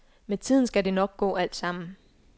Med tiden skal det nok gå alt sammen.